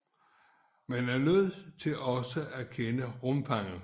Man er nødt til også at kende rumfanget